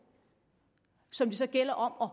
som det så gælder om at